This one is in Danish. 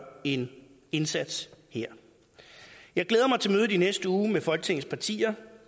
en indsats her jeg glæder mig til mødet i næste uge med folketingets partier